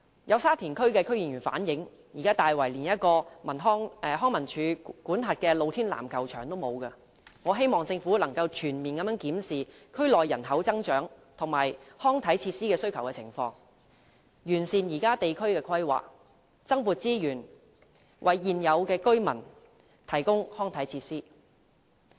有沙田區區議員反映，現時大圍連一個康樂及文化事務署管轄的露天籃球場也欠奉，我希望政府可以全面檢視區內人口增長與康體設施需求的情況，完善現有地區規劃，增撥資源，為現有居民提供康體設施。